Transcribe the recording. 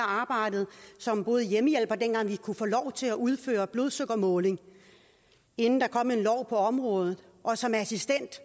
arbejdet som hjemmehjælper dengang vi kunne få lov til udføre blodsukkermåling inden der kom en lov på området og som assistent